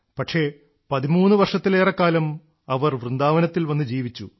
പക്ഷേ 13 വർഷത്തിലേറെക്കാലം അവർ വൃന്ദാവനത്തിൽ വന്ന് ജീവിച്ചു